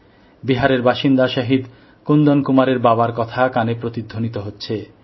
বিহারের বাসিন্দা শহীদ কুন্দন কুমারের বাবার কথা কানে প্রতিধ্বনিত হচ্ছে